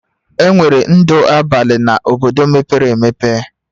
Enwere ndụ abalị n'ime obodo mepere emepe